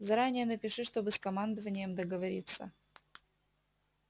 заранее напиши чтобы с командованием договориться